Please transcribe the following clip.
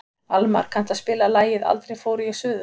Almar, kanntu að spila lagið „Aldrei fór ég suður“?